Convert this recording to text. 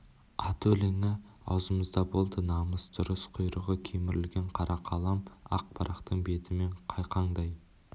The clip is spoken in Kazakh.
аты өлеңі аузымызда болды намыс дұрыс құйрығы кемірілген қара қалам ақ парақтың бетімен қайқаңдай